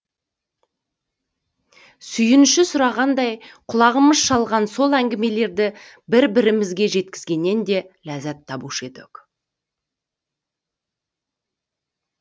сүйінші сұрағандай құлағымыз шалған сол әңгімелерді бір бірімізге жеткізгеннен де ләззат табушы едік